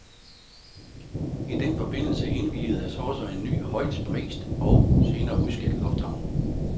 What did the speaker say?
I den forbindelse indviedes også en ny, højt prist, og senere udskældt lufthavn.